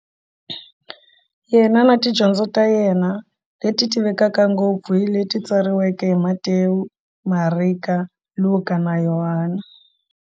Yena na tidyondzo ta yena, leti tivekaka ngopfu hi leti tsariweke hi Matewu, Mareka, Luka, na Yohani.